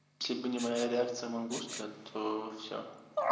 если бы не моя реакция мангуста то все